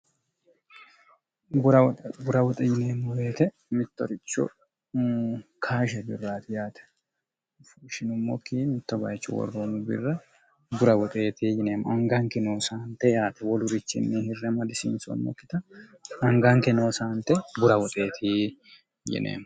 bura woxe yineemmoheete mittoricho kaashe birraati yaate fushinummokki mittobayichu worroonmu birra bura woxeeti yineemmo anganke noo saante yaate wolurichinni hirrema disiinsoonnokkita anganke noo saante bura woxeeti yineemo